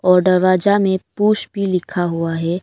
और दरवाजा में पुश भी लिखा हुआ है।